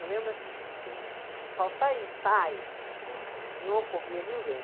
Eu lembro assim, a gente não, faltar ensaio, não ocorria ninguém.